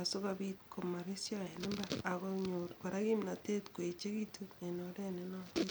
asikopiit komoresyo en mbar akonyor kora kimnatet koechegitu en oret nenoton